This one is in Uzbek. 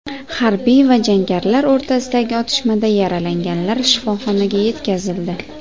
Harbiylar va jangarilar o‘rtasidagi otishmada yaralanganlar shifoxonaga yetkazildi.